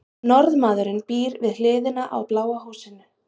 norðmaðurinn býr við hliðina á bláa húsinu